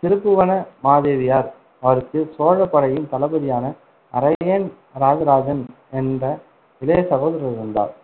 திருபுவன மாதேவியார். அவருக்கு சோழப்படையின் தளபதியான அரையன் ராஜராஜன் என்ற இளைய சகோதரர் இருந்தார்.